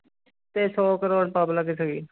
ਤੇ ਸੌ ਕਰੌੜ public ਸੀਗੀ।